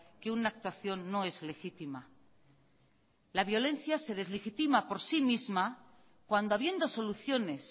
que una actuación no es legítima la violencia se deslegitima por sí misma cuando habiendo soluciones